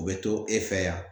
U bɛ to e fɛ yan